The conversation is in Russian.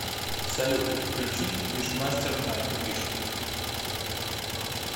салют включить вишмастер найтвиш